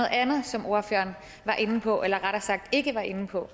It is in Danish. andet som ordføreren var inde på eller rettere sagt ikke var inde på